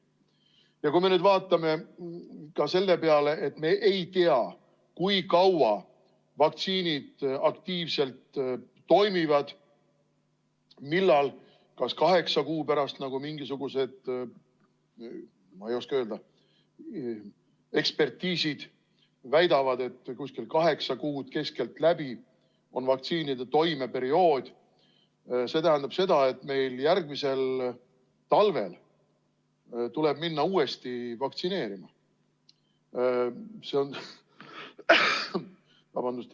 Ja kui me nüüd vaatame ka selle peale, et me ei tea, kui kaua vaktsiinid aktiivselt toimivad – mingisugused, ma ei oska öelda, mis ekspertiisid väidavad, et umbes kaheksa kuud keskeltläbi on vaktsiinide toimeperiood –, siis see tähendab seda, et meil järgmisel talvel tuleb minna uuesti vaktsineerima.